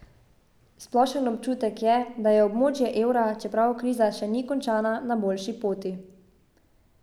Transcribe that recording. Splošen občutek je, da je območje evra, čeprav kriza še ni končana, na boljši poti ...